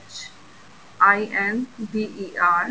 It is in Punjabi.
inder